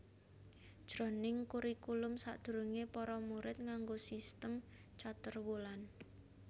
Jroning kurikulum sadurungé para murid nganggo sistem caturwulan